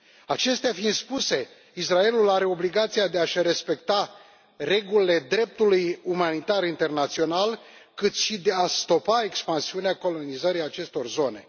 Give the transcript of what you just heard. Acestea fiind spuse, Israelul are obligația de a respecta regulile dreptului umanitar internațional, cât și de a stopa expansiunea colonizării acestor zone.